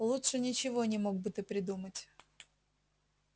лучше ничего не мог бы ты придумать